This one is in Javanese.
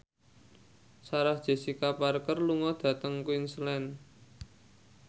Sarah Jessica Parker lunga dhateng Queensland